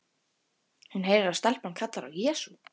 Hún heyrir að stelpan kallar á Jesú.